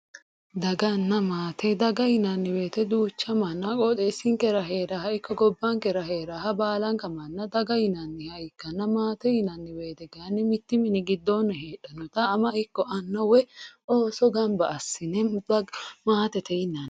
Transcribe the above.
Daganna maate daga yinanni woyiite duucha manna qooxeessinkera heeraaha ikko gobbankera heeraha baalanka daga yinayiiha ikkanna maate yinanni woyiite mittu mini giddoonni heehannota ama ikko anna ooso gamba assine maatete yinanni